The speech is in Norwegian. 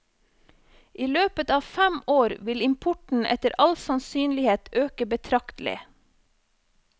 I løpet av fem år vil importen etter all sannsynlighet øke betraktelig.